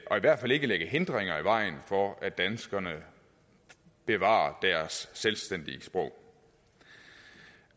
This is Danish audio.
og i hvert fald ikke lægge hindringer i vejen for at danskerne bevarer deres selvstændige sprog